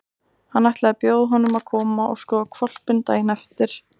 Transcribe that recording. Hann ætlaði að bjóða honum að koma og skoða hvolpinn daginn eftir.